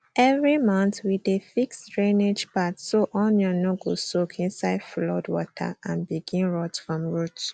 every month we dey fix drainage path so onion no go soak inside flood water and begin rot from root